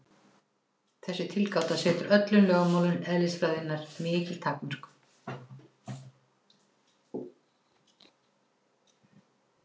Þessi tilgáta setur öllum lögmálum eðlisfræðinnar mikil takmörk.